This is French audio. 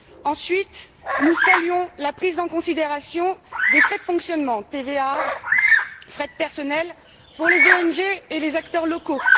Ensuite, nous saluons la prise en considération des frais de fonctionnement TVA, frais de personnel des ONG et des acteurs locaux.